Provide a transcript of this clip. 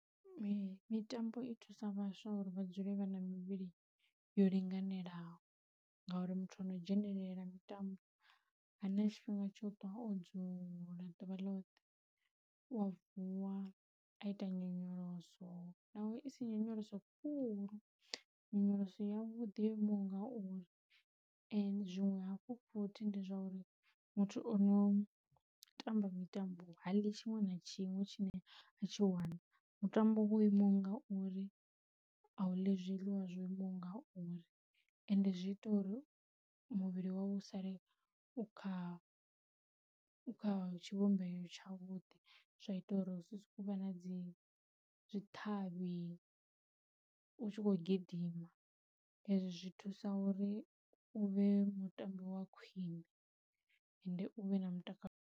Mitambo i thusa vhaswa uri vha dzule vha na mivhili yo linganelaho, ngauri muthu ano dzhenelela mitambo hana tshifhinga tsho ṱwa o dzula ḓuvha ḽoṱhe, u a vuwa a ita nyonyoloso naho i si nyonyoloso khulu nyonyoloso ya vhuḓi yo imaho ngauri, zwinwe hafhu futhi ndi zwa uri muthu o no tamba mitambo ha ḽi tshiṅwe na tshiṅwe tshine a tshi wana. Mutambo wo imaho ngauri a u ḽi zwiḽiwa zwo imaho ngauri, ende zwi ita uri muvhili wau u sale u kha u kha tshivhumbeo tshavhuḓi, zwa ita uri u si sokou vha na dzi zwithavhani u tshi khou gidima, ezwo zwi thusa uri u vhe mutambi wa khwine ende u vhe na mutakalo